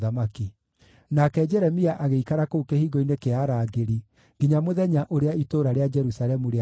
Nake Jeremia agĩikara kũu kĩhingo-inĩ kĩa arangĩri nginya mũthenya ũrĩa itũũra rĩa Jerusalemu rĩatunyanirwo.